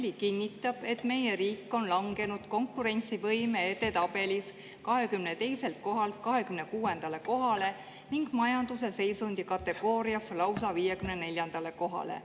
Aastaraamat" kinnitab, et meie riik on langenud konkurentsivõime edetabelis 22. kohalt 26. kohale ning majanduse seisundi kategoorias lausa 54. kohale.